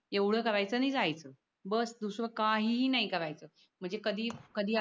एवढं करायचं नाही जायचं बस दुसरं काहीही नाही करायच म्हणजे कधी कधी